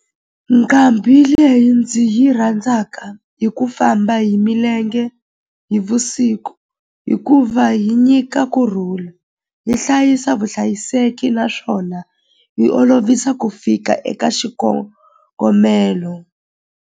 Nqambi leyi ndzi yi rhandzaka hi ku famba hi milenge hi vusiku hikuva yi nyika kurhula yi hlayisa vuhlayiseki naswona yi olovisa ku fika eka xikongomelo.